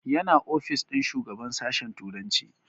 Yana ofis ɗin shugaban sashen turanci